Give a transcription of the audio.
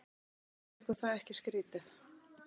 Finnst ykkur það ekki skrýtið?